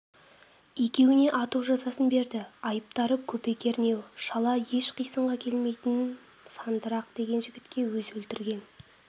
екеуіне ату жазасын берді айыптары көпе-кернеу жала еш қисынға келмейтін сандырақ деген жігітке өзі өлтірген